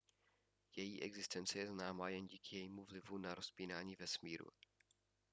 její existence je známá jen díky jejímu vlivu na rozpínání vesmíru